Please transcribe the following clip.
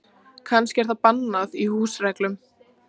Kannski er það bannað í húsreglunum.